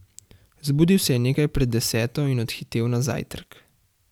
Zbudil se je nekaj pred deseto in odhitel na zajtrk.